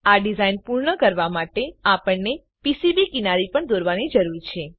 આ ડીઝાઈન પૂર્ણ કરવા માટે આપણને પીસીબી કિનારી પણ દોરવાની જરૂર છે